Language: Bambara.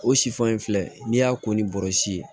O sifan in filɛ n'i y'a ko ni bɔrɛ ye